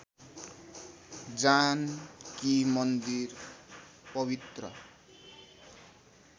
जानकी मन्दिर पवित्र